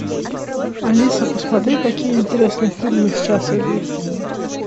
алиса посмотри какие интересные фильмы сейчас идут